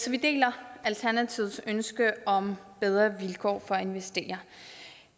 vi deler alternativets ønske om bedre vilkår for investeringer